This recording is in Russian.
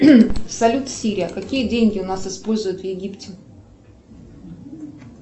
салют сири какие деньги у нас используют в египте